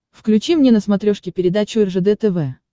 включи мне на смотрешке передачу ржд тв